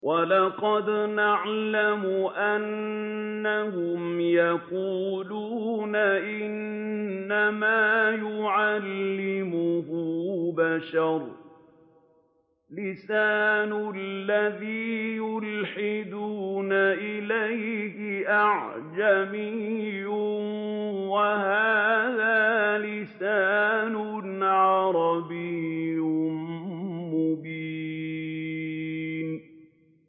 وَلَقَدْ نَعْلَمُ أَنَّهُمْ يَقُولُونَ إِنَّمَا يُعَلِّمُهُ بَشَرٌ ۗ لِّسَانُ الَّذِي يُلْحِدُونَ إِلَيْهِ أَعْجَمِيٌّ وَهَٰذَا لِسَانٌ عَرَبِيٌّ مُّبِينٌ